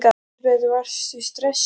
Elísabet: Varstu stressuð?